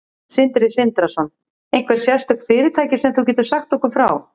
Sindri Sindrason: Einhver sérstök fyrirtæki sem þú getur sagt okkur frá?